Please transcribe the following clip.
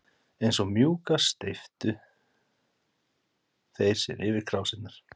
Eins og múkkar steyptu þeir sér yfir krásirnar.